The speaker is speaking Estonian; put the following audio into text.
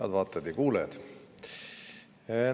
Head vaatajad ja kuulajad!